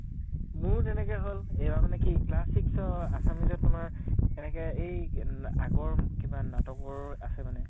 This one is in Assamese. মোৰ তেনেকে হʼল । এইবাৰ মানে কি class six ৰ assumes ত তোমাৰ সেনেকে এই কিনা আগৰ কিবা নাটকৰ আছে মানে